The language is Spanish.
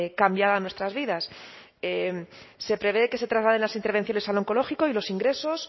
cambiada nuestras vidas se prevé que se trasladen las intervenciones al oncológico y los ingresos